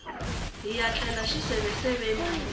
hiya tlela xiseveseveni namuntlha